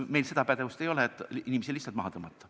No meil seda pädevust ei ole, et inimesi lihtsalt maha tõmmata.